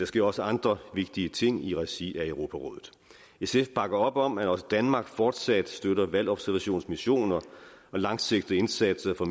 sker også andre vigtige ting i regi af europarådet sf bakker op om at også danmark fortsat støtter valgobservationsmissioner og langsigtede indsatser